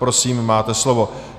Prosím, máte slovo.